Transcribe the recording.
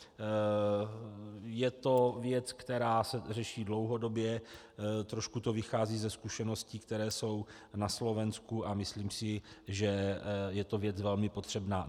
Je to věc, která se řeší dlouhodobě, trošku to vychází ze zkušeností, které jsou na Slovensku, a myslím si, že je to věc velmi potřebná.